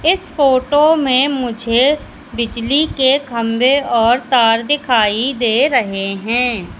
इस फोटो में मुझे बिजली के खंभे और तार दिखाई दे रहे हैं।